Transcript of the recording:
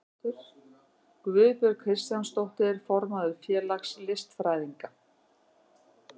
Guðbjörg Kristjánsdóttir, formaður félags listfræðinga.